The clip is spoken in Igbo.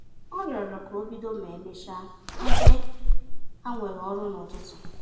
Ọ rịọrọ ka obido ma emecha ebe ha nwere ọrụ na-ụtụtụ